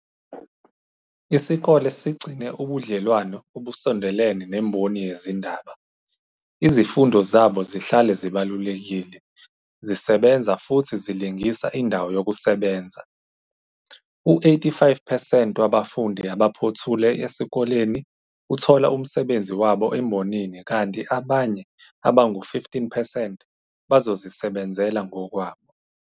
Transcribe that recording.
"Isikole sigcine ubudlelwano obusondelene nemboni yezindaba, izifundo zabo zihlale zibalulekile, zisebenza futhi zilingisa indawo yokusebenza. U-85 percent wabafundi abaphothule esikoleni uthola umsebenzi wabo embonini kanti abanye abangu-15 percent bazozisebenzela ngokwabo.